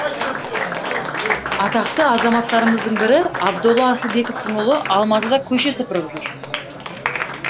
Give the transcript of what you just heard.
атақты азаматтарымыздың бірі абдолла асылбековтің ұлы алматыда көше сыпырып жүр